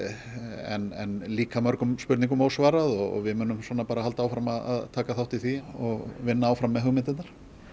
en það líka mörgum spurningum ósvarað og við munum halda áfram að taka þátt í því og vinna áfram með hugmyndirnar